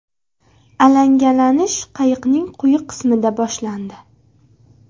Alangalanish qayiqning quyi qismida boshlandi.